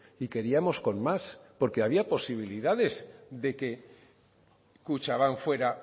y queríamos con más porque había posibilidades de que kutxabank fuera